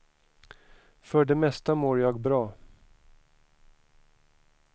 För det mesta mår jag bra.